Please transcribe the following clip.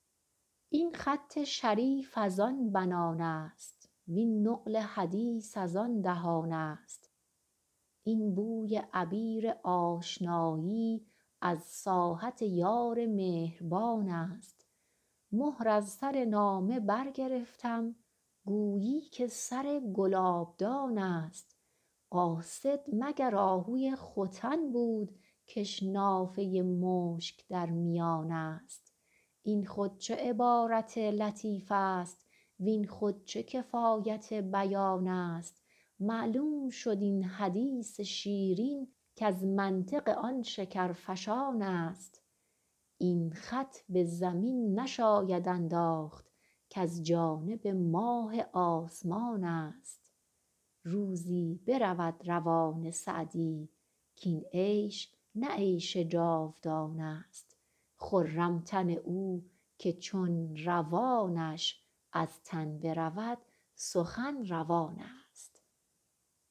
این خط شریف از آن بنان است وین نقل حدیث از آن دهان است این بوی عبیر آشنایی از ساحت یار مهربان است مهر از سر نامه برگرفتم گفتی که سر گلابدان است قاصد مگر آهوی ختن بود کش نافه مشک در میان است این خود چه عبارت لطیف است وین خود چه کفایت بیان است معلوم شد این حدیث شیرین کز منطق آن شکرفشان است این خط به زمین نشاید انداخت کز جانب ماه آسمان است روزی برود روان سعدی کاین عیش نه عیش جاودان است خرم تن او که چون روانش از تن برود سخن روان است